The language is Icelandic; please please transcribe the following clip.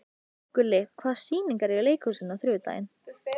Gulli, hvaða sýningar eru í leikhúsinu á þriðjudaginn?